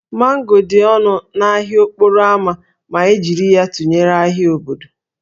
Mango dị ọnụ n'ahịa okporo ámá ma e jiri ya tụnyere ahịa obodo